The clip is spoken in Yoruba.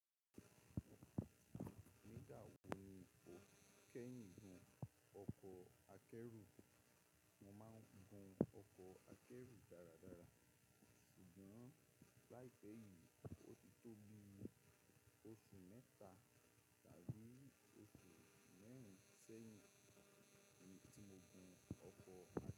Nígbà wọ ni o kẹ́yìn gun ọkọ̀ akẹ́rù? Mo máa ń gun ọkọ̀ akẹ́rù dáradára, ṣùgbọ́n láìpẹ́ yìí ó ti tóbi oṣù mẹ́ta tàbí oṣù mẹ́rin sẹ́yìn tí mo gun ọkọ̀ a.